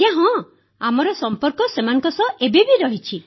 ଆଜ୍ଞା ହଁ ଆମ ସମ୍ପର୍କ ସେମାନଙ୍କ ସହ ଏବେ ମଧ୍ୟ ରହିଛି